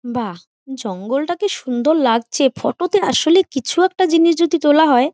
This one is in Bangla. বাহ জঙ্গলটা কি সুন্দর লাগছে ফটোতে আসলে কিছু একটা জিনিস যদি তোলা হয়--